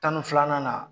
Tan ni filanan na